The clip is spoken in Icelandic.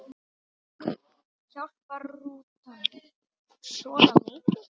Hjálpar rútan svona mikið?